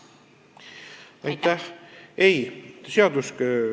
Aitäh!